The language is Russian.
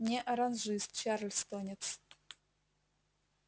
не оранжист чарльстонец